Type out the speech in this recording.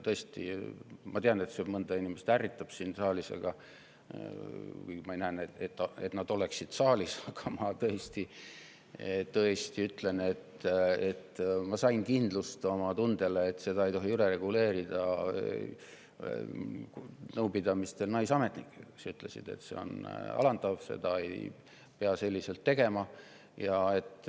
Ma tean, et see mõnda inimest ärritab siin saalis – ma ei näe praegu, et nad oleksid siin saalis –, aga ma tõesti ütlen, et ma sain oma tundele, et seda ei tohi üle reguleerida, nõupidamistel, kui naisametnikud ütlesid, et see on alandav ja seda ei peaks selliselt tegema.